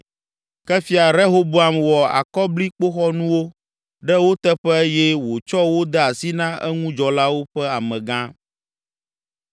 Ke Fia Rehoboam wɔ akɔblikpoxɔnuwo ɖe wo teƒe eye wòtsɔ wo de asi na eŋudzɔlawo ƒe amegã.